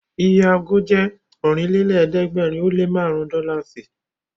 Iye ago jẹ́ Ọ̀rìnlélẹ̀ẹ́dẹ́gbèrin ó lé márùn-ún dọ́làsì